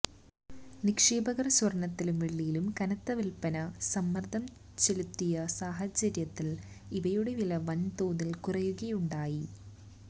നിക്ഷേപകര് സ്വര്ണത്തിലും വെള്ളിയിലും കനത്ത വില്പ്പന സമ്മര്ദ്ദം ചെലുത്തിയ സാഹചര്യത്തില് ഇവയുടെ വില വന്തോതില് കുറയുകയുണ്ടായി